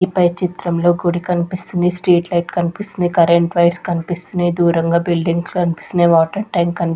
ఈ పై చిత్రంలో గుడి కనిపిస్తుంది స్ట్రీట్ లైట్ కనిపిస్తున్నాయి కరెంట్ వైర్స్ కనిపిస్తున్నాయి దూరంగా బిల్డింగ్స్ కనిపిస్తున్నాయి వాటర్ ట్యాంక్ కని --